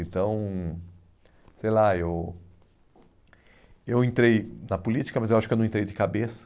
Então, sei lá, eu eu entrei na política, mas eu acho que eu não entrei de cabeça.